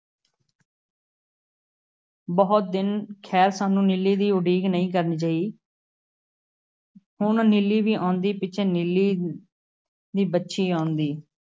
ਬਹੁਤ ਦਿਨ, ਖ਼ੈਰ, ਸਾਨੂੰ ਨੀਲੀ ਦੀ ਉਡੀਕ ਨਹੀਂ ਕਰਨੀ ਪਈ । ਹੁਣ ਨੀਲੀ ਵੀ ਆਉਂਦੀ, ਪਿਛੇ ਨੀਲੀ ਦੀ ਵੱਛੀ ਆਉਂਦੀ ।